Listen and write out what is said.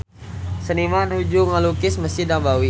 Seniman nuju ngalukis Mesjid Nabawi